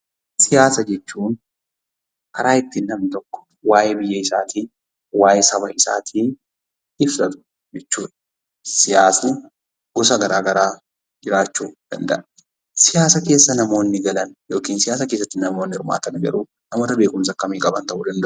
Siyaasa jechuun karaa itti namni tokko waa'ee biyya isaatii, waa'ee saba isaatii ibsatu jechuudha. Siyaasni gosa garaa garaa jiraachuu danda'a. Siyaasa keessa namoonni galan yookiin siyaasa keessatti namoonni hirmaatan agruu namoota beekumsa akkamii qaban ta'uu danda'u?